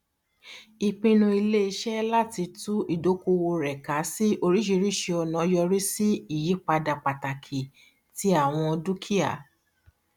ìpinnu iléiṣẹ láti tú ìdókòwò rẹ ká sí oríṣìíríṣìí ọnà yọrí sí ìyípadà pàtàkì ti àwọn dukia